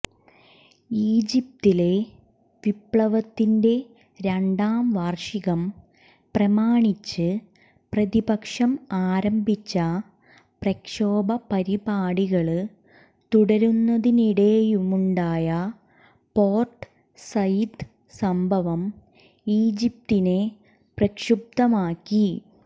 ഈജിപ്തിലെ വിപ്ലവത്തിന്റെ രണ്ടാം വാര്ഷികം പ്രമാണിച്ച് പ്രതിപക്ഷം ആരംഭിച്ച പ്രക്ഷോഭ പരിപാടികള് തുടരുന്നതിനിടെയുണ്ടായ പോര്ട്ട് സയിദ് സംഭവം ഈജിപ്തിനെ പ്രക്ഷുബ്ധമാക്കി